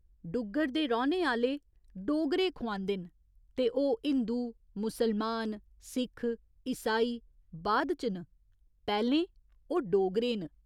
डुग्गर दे रौह्‌ने आह्‌ले ''डोगरे'' खुआंदे न ते ओह् हिंदु, मुसलमान, सिक्ख, ईसाई बाद च न, पैह्‌लें ओह् डोगरे न।